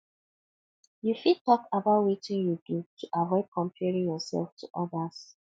you fit talk about wetin you do to avoid comparing yourself to odas